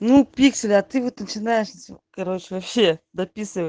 ну пикселя ты вот начинаешь короче вообще дописывать